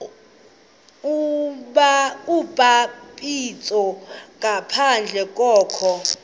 ubhaptizo ngaphandle kokholo